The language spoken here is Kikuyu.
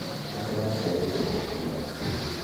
Nĩtũracereĩrwo gũkĩnya mũciĩ.